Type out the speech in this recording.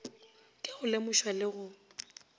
ka go lemošwa le go